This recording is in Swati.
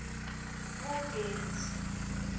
kugetty